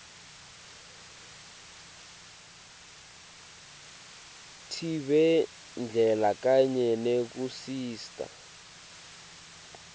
tibhedlela kanye nekusita